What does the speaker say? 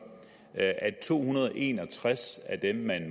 at to hundrede og en og tres af dem man